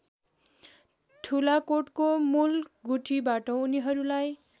ठुलाकोटको मूलगुठीबाट उनीहरूलाई